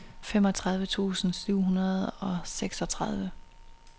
femogtredive tusind syv hundrede og seksogtredive